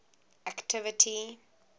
activity